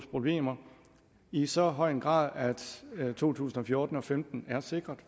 problemer i så høj en grad at to tusind og fjorten og femten er sikret